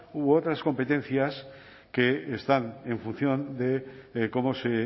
u otras competencias que están en función de cómo se